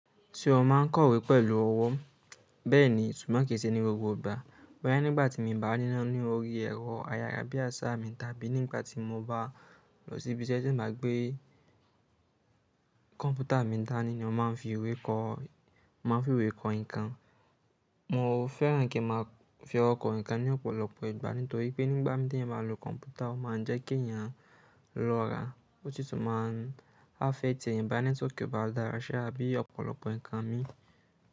Tí ó máa ń kọ ìwé pẹ̀lú ọwọ́ bẹ́ẹ̀ni, ṣùgbọ́n kì í ṣe ní gbogbo ìgbà. Wáyé nígbà tí mo bá nína ní orí ẹ̀rọ ayárabíàṣá mi, tàbí nígbà tí mo bá lọ síbí ṣẹ́ tí mà gbé kọ̀m̀pútà mi dání ní ó máa ń fi ìwé kọ, máa ń fi ìwé kọ nǹkan. Mo fẹ́ràn kí n máa fi ọwọ́ kọ nǹkan ní ọ̀pọ̀lọpọ̀ ìgbà nítorí pé nígbà méta yìí máa lo kọ̀m̀pútà ó máa ń jẹ́ kí èèyàn lọ́ra, ó sì tún máa ń affect èèyàn bẹ́ẹ̀ ní tó kí ó bá dára ṣe àbí ọ̀pọ̀lọpọ̀ nǹkan mi.